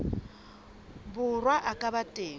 borwa a ka ba teng